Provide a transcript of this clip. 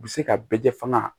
U bɛ se ka bɛɛ fanga